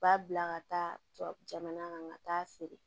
U b'a bila ka taa jamana kan ka taa feere